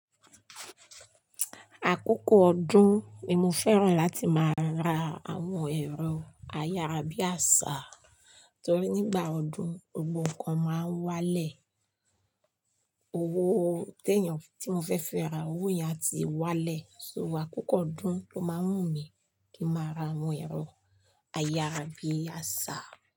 Àkókò ọdún ni mo fẹ́ràn láti máa ra àwọn ẹ̀rọ ayárabíàṣá torí nígbà ọdún gbogbo nnkan máa ń wá lẹ̀. Owó tí èèyàn tí mo fẹ́ fi ra owó yẹn á ti wá lẹ̀. So àkókò ọdún ló máa ń wù mí kí n máa ra àwọn ẹ̀rọ ayárabíàṣá.